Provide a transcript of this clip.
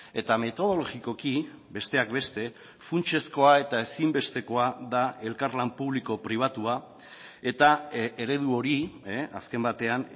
eta metodologikoki besteak beste funtsezkoa eta ezinbestekoa da elkarlan publiko pribatua eta eredu hori azken batean